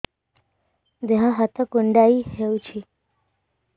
ଦେହ ହାତ କୁଣ୍ଡାଇ ହଉଛି